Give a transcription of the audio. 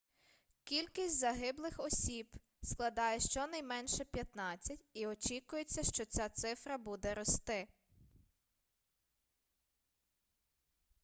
кількість загиблих складає щонайменше 15 осіб і очікується що ця цифра буде рости